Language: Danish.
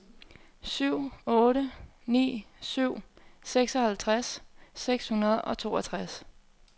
syv otte ni syv seksoghalvtreds seks hundrede og toogtres